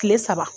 Kile saba